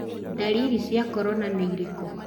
Ndariri cia korona ni irikũ?